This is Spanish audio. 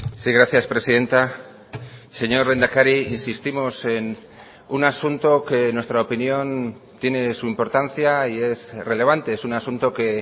sí gracias presidenta señor lehendakari insistimos en un asunto que en nuestra opinión tiene su importancia y es relevante es un asunto que